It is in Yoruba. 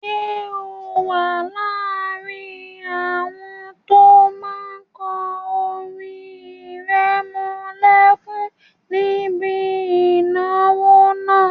Ṣé o wà láàrin àwọn ẹni tó máa kọ orin ìrẹmọlẹ́kún níbi ìnáwó náà?